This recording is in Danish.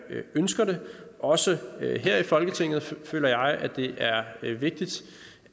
ønsker det også her i folketinget føler jeg at det er vigtigt